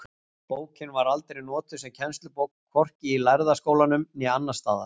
Bókin var aldrei notuð sem kennslubók, hvorki í Lærða skólanum né annars staðar.